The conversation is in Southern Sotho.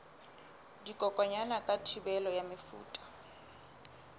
dikokwanyana ka thibelo ya mefuta